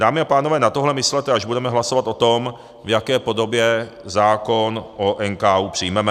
Dámy a pánové, na tohle myslete, až budeme hlasovat o tom, v jaké podobě zákon o NKÚ přijmeme.